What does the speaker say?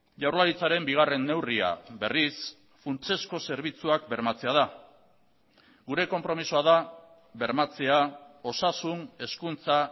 jaurlaritzaren bigarren neurria berriz funtsezko zerbitzuak bermatzea da gure konpromisoa da bermatzea osasun hezkuntza